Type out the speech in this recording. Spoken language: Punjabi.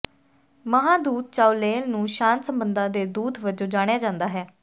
ਮਹਾਂ ਦੂਤ ਚਾਉਲੇਲ ਨੂੰ ਸ਼ਾਂਤ ਸਬੰਧਾਂ ਦੇ ਦੂਤ ਵਜੋਂ ਜਾਣਿਆ ਜਾਂਦਾ ਹੈ